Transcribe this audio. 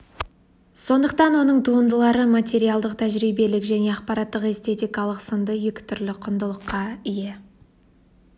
сондықтан оның туындылары материалдық тәжірибелік және ақпараттық-эстетикалық сынды екі түрлі құндылыққа ие